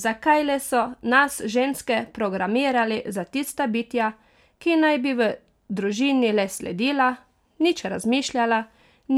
Zakaj le so nas ženske programirali za tista bitja, ki naj bi v družini le sledila, nič razmišljala,